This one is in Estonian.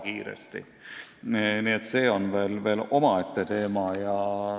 Nii et see on veel omaette teema.